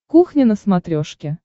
кухня на смотрешке